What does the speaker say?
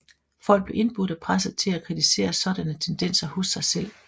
Folk blev indbudt og presset til at kritisere sådanne tendenser hos sig selv